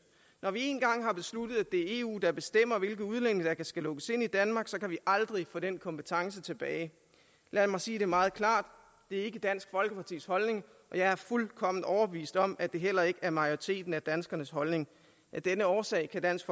når vi én gang har besluttet at det er eu der bestemmer hvilke udlændinge der skal lukkes ind i danmark vi aldrig få den kompetence tilbage lad mig sige det meget klart det er ikke dansk folkepartis holdning og jeg er fuldkommen overbevist om at det heller ikke er majoriteten af danskernes holdning af denne årsag kan dansk